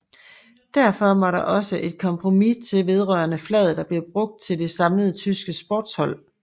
Derfor måtte der også et kompromis til vedrørende flaget der blev brugt til det samlede tyske sportshold